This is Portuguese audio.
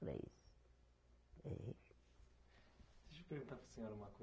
Para eles, dei. Deixa eu perguntar para a senhora uma coi